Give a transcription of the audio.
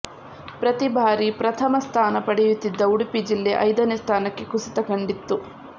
ಪ್ರತಿಬಾರಿ ಪ್ರಥಮ ಸ್ಥಾನ ಪಡೆಯುತ್ತಿದ್ದ ಉಡುಪಿ ಜಿಲ್ಲೆ ಐದನೇ ಸ್ಥಾನಕ್ಕೆ ಕುಸಿತ ಕಂಡಿತ್ತು